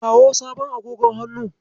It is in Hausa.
Kawo sabon agogon hannun.